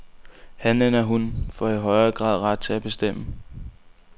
Han eller hun får i højere grad ret til at bestemme.